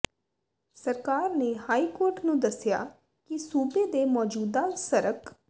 ਸਰਕਾਰ ਨੇ high court ਨੂੰ ਦੱਸਿਆ ਕਿ ਸੂਬੇ ਦੇ ਮੌਜੂਦਾ ਸਰਕ